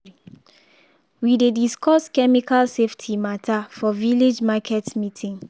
we dey discuss chemical safety matter for village market meeting.